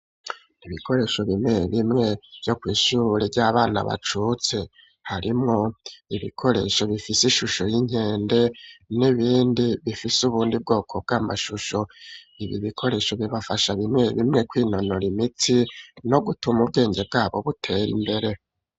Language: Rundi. Ibikoresho bimwe bimwe vyo kw'ishuri ry'abana bacutse harimwo ibikoresho bifise ishusho y'inkende n'ibindi bifise ubundi bwoko bw'amashusho ibi bikoresho bibafasha bimwe bimwe kwinonoro imitsi no gutuma ubwenge bwabo buteye imbere.